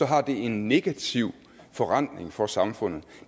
har en negativ forrentning for samfundet